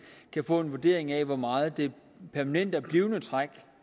kan få en vurdering af hvor meget det permanente blivende træk